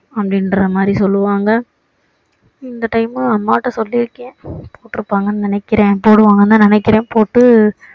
அப்படிங்கற மாதிரி சொல்லுவாங்க இந்த time மு அம்மாட்ட சொல்லி இருக்கேன் போட்டு இருப்பாங்கன்னு நினைக்கிறேன் போடுவாங்கன்னு தான் நினைக்கிறேன் போட்டு